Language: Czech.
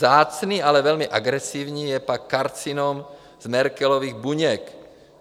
Vzácný, ale velmi agresivní je pak karcinom z Merkelových buněk.